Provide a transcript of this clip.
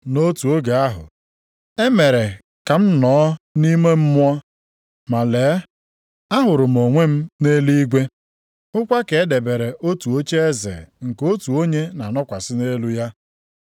Nʼotu oge ahụ, e mere ka m nọọ nʼime mmụọ, ma lee, ahụrụ m onwe m nʼeluigwe, hụkwa ka e debere otu ocheeze nke otu onye na-anọkwasị nʼelu ya.